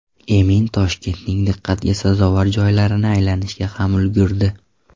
Emin Toshkentning diqqatga sazovor joylarini aylanishga ham ulgurdi.